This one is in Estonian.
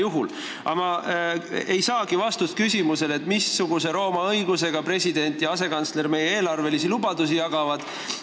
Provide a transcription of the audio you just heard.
Aga ma vist ei saagi vastust küsimusele, missuguse Rooma õiguse järgi meie president ja asekantsler eelarvelisi lubadusi jagavad.